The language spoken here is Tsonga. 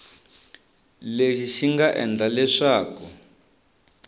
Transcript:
lexi xi nga endla leswaku